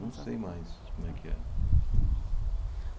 Não sei mais como é que é. Entendi.